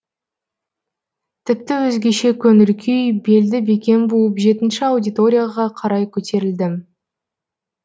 тіпті өзгеше көңіл күй белді бекем буып жетінші аудиторияға қарай көтерілдім